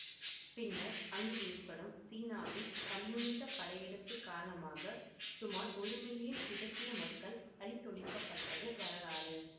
பின்னர் அங்கு ஏற்படும் சீனாவின் கம்யூனிச படையெடுப்பு காரணமாக சுமார் ஒரு மில்லியன் திபெத்திய மக்கள் அழித்தொழிக்கப்பட்டது வரலாறு